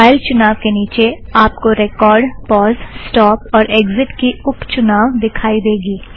file चुनाव के नीचे आप को रेकॉर्ड़ पॉज़ स्टोप और एग्ज़िट की उप चुनाव दिखाई देगी